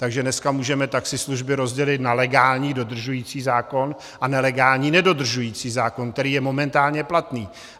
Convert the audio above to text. Takže dneska můžeme taxislužby rozdělit na legální dodržující zákon a nelegální nedodržující zákon, který je momentálně platný.